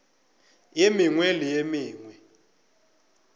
ye mengwe le ye mengwe